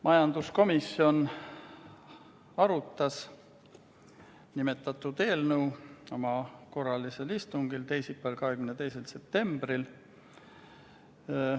Majanduskomisjon arutas nimetatud eelnõu oma korralisel istungil teisipäeval, 22. septembril.